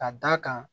Ka d'a kan